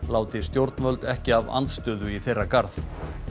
láti stjórnvöld ekki af andstöðu í þeirra garð